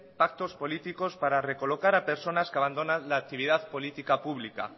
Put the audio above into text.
pactos políticos para recolocar a personas que abandonan la actividad política pública